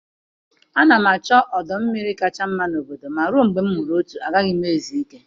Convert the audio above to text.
Ana m achọ ọdọ mmiri kacha mma na obodo ma ruo mgbe m hụrụ otu, agaghị m ezu ike.